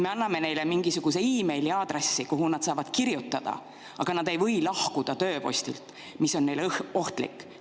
Me anname neile mingisuguse meiliaadressi, kuhu nad saavad kirjutada, aga nad ei või lahkuda tööpostilt, mis on neile ohtlik.